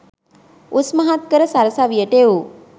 උස්මහත් කර සරසවියට එවූ